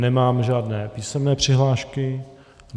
Nemám žádné písemné přihlášky.